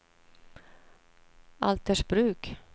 Altersbruk